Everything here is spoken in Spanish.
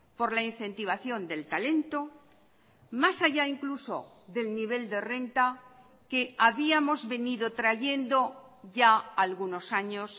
por la incentivación del talento más allá incluso del nivel de renta que habíamos venido trayendo ya algunos años